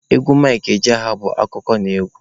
Egwu Mike Ejeagha bụ akụkọnaegwu.